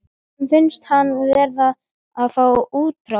Honum finnst hann verða að fá útrás.